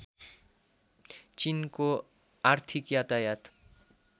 चिनको आर्थिक यातायात